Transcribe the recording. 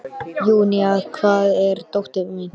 Júníana, hvar er dótið mitt?